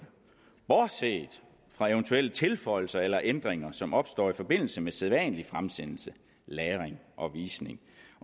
bortset fra eventuelle tilføjelser eller ændringer som opstår i forbindelse med sædvanlig fremsendelse lagring og visning